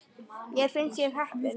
Mér finnst ég heppin.